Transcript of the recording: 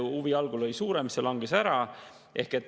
Huvi oli algul suurem, see langes ära.